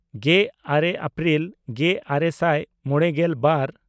ᱜᱮᱼᱟᱨᱮ ᱮᱯᱨᱤᱞ ᱜᱮᱼᱟᱨᱮ ᱥᱟᱭ ᱢᱚᱬᱮᱜᱮᱞ ᱵᱟᱨ